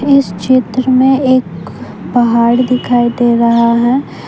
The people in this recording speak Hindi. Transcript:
इस क्षेत्र में एक पहाड़ दिखाई दे रहा है।